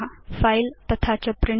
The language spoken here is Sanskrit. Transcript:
फिले तथा च प्रिंट